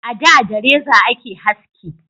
A da da reza a ke haski